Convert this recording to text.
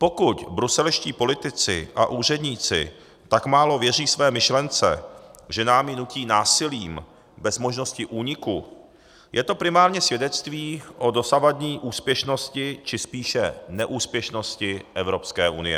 Pokud bruselští politici a úředníci tak málo věří své myšlence, že nám ji nutí násilím bez možnosti úniku, je to primárně svědectví o dosavadní úspěšnosti, či spíše neúspěšnosti Evropské unie.